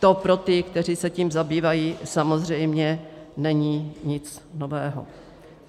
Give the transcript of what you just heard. To pro ty, kteří se tím zabývají, samozřejmě není nic nového.